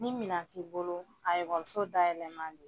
Ni minan t'i bolo a ekɔliso dayɛlɛ man di